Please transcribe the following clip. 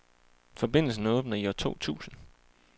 Forbindelsen åbner i år to tusind.